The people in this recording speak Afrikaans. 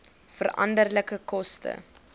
veranderlike koste